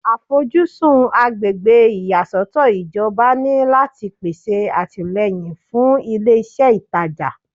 Àfojúsùn agbègbè ìyàsọ́tọ̀ ìjọba ni láti pèsè àtìlẹ́yìn fún ilé iṣẹ́ ìtajà